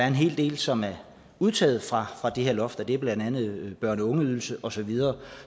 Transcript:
en hel del som er undtaget fra det her loft og det er blandt andet børn og ungeydelsen og så videre